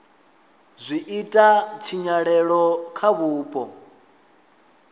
zwi ita tshinyalelo kha vhupo